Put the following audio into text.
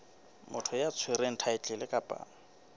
motho ya tshwereng thaetlele kapa